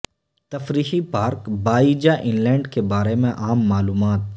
تفریحی پارک باببیجاان لینڈ کے بارے میں عام معلومات